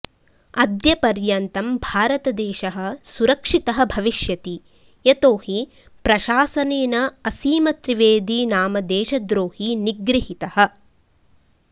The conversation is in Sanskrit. अद्य पर्यन्तं भारतदेशः सुरक्षितः भविष्यति यतो हि प्रशासनेन असीमत्रिवेदी नाम देशद्रोही निगृहितः